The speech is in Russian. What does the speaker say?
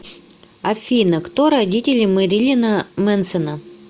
афина кто родители мэрилина мэнсона